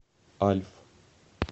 альф